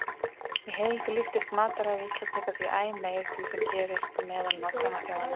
Í heild líkist matarræði Íslendinga því æ meir því sem gerist meðal nágrannaþjóðanna.